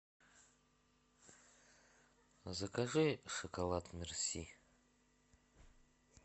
закажи шоколад мерси